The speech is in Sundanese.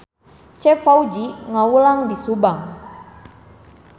Cep Fauzi ngawulang di Subang